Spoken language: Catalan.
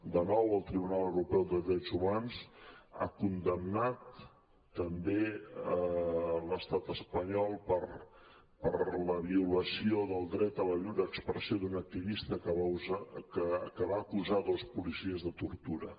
de nou el tribunal europeu dels drets humans ha condemnat també l’estat espanyol per la violació del dret a la lliure expressió d’un activista que va acusar dos policies de tortura